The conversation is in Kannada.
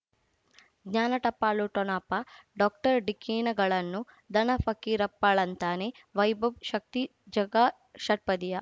ಜ್ಞಾನ ಟಪಾಲು ಠೊಣಪ ಡಾಕ್ಟರ್ ಢಿಕ್ಕಿ ಣಗಳನು ಧನ ಫಕೀರಪ್ಪ ಳಂತಾನೆ ವೈಭವ್ ಶಕ್ತಿ ಝಗಾ ಷಟ್ಪದಿಯ